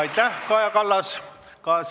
Aitäh, Kaja Kallas!